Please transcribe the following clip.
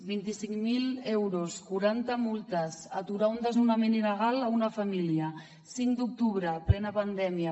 vint i cinc mil euros quaranta multes aturar un desnonament il·legal a una família cinc d’octubre plena pandèmia